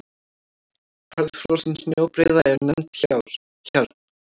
Harðfrosin snjóbreiða er nefnd hjarn.